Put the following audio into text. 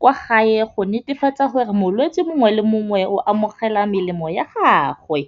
kwa gae, go netefatsa gore molwetse mongwe le mongwe o amogela melemo ya gagwe.